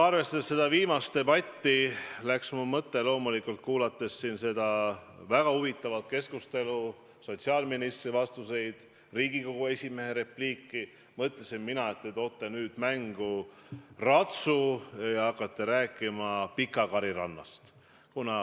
Arvestades eelmise küsimuse teemat ja kuulates seda väga huvitavat keskustelu, sotsiaalministri vastuseid ja Riigikogu esimehe repliiki, mõtlesin mina, et te toote nüüd mängu ratsu ja hakkate rääkima Pikakari rannast.